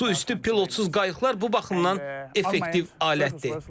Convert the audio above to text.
Suüstü pilotsuz qayıqlar bu baxımdan effektiv alətdir.